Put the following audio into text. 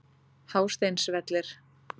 Hásteinsvelli